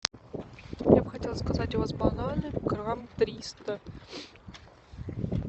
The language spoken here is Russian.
я бы хотела заказать у вас бананы грамм триста